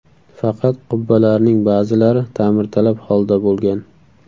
Faqat qubbalarning ba’zilari ta’mirtalab holda bo‘lgan.